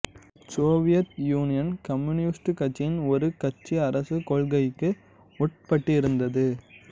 Soviet Union communist கட்சியின் ஒரு கட்சிஅரசு கொள்கைக்கு உட்பட்டிருந்தது